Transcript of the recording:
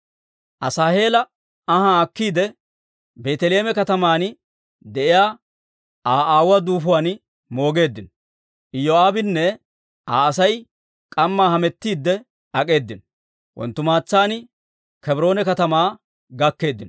Asaaheela anhaa akkiide, Beeteleeme kataman de'iyaa Aa aawuwaa duufuwaan moogeeddino; Iyoo'aabinne Aa Asay k'ammaa hamettiidde ak'eedino; wonttumaatsaan Kebroone katamaa gakkeeddino.